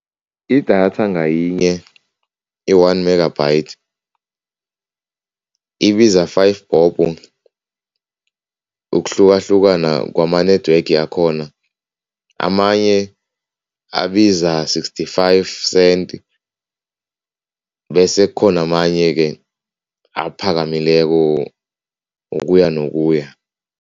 Idatha ngayinye, i-one megabyte, ibiza five bobho, ukuhlukahlukana kwama-network akhona. Amanye abiza sixty-five cent bese kukhona amanye-ke aphakamileko ukuya nokuya.